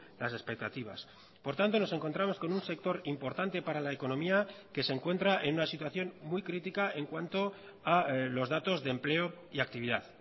las expectativas por tanto nos encontramos con un sector importante para la economía que se encuentra en una situación muy crítica en cuanto a los datos de empleo y actividad